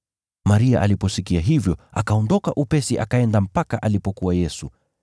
Maria aliposikia hivyo, akaondoka upesi akaenda mpaka alipokuwa Yesu.